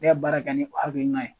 Ne ya baara kɛ ni hakilina ye